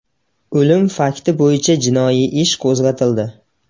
O‘lim fakti bo‘yicha jinoiy ish qo‘zg‘atildi.